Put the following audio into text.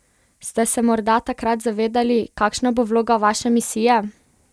Ste se morda takrat zavedali, kakšna bo vloga vaše misije?